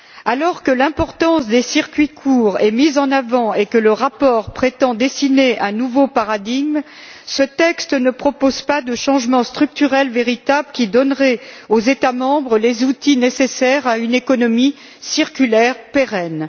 Alors que l'importance des circuits courts est mise en avant et que le rapport prétend dessiner un nouveau paradigme, ce texte ne propose pas de changements structurels véritables qui donneraient aux États membres les outils nécessaires à une économie circulaire pérenne.